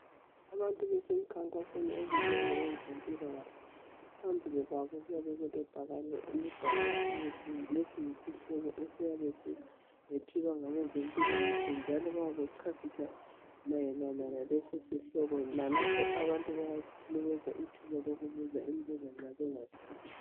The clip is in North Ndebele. Abantu basemkhankasweni obizwe ngabe zempilakahle phambili kwabo kuyabe kulebhakane elibhalwe EPSA lesi yisihloko esiyethulwa ngabazempilakahle njalo bayabe bechasisa mayelana laleso sihloko lalapho abantu bayanikezwa ithuba lokubuza imbuzo nxa bengazwisisi